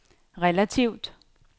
relativt